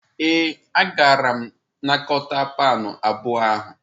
Ee, agara m anakọta pound abụọ ahụ.